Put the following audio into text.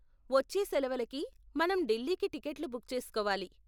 వచ్చే సెలవలకి మనం ఢిల్లీకి టికెట్లు బుక్ చేసుకోవాలి.